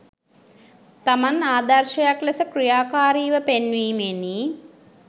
තමන් ආදර්ශයක් ලෙස ක්‍රියාකාරීව පෙන්වීමෙනි.